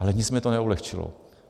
Ale nic mi to neulehčilo.